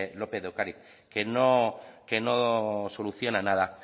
lópez de ocariz que no soluciona nada